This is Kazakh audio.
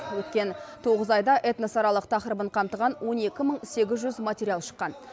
өткен тоғыз айда этносаралық тақырыбын қамтыған он екі мың сегіз жүз материал шыққан